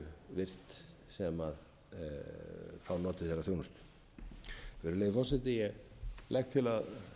virt sem fá notið þeirrar þjónustu virðulegi forseti ég legg til að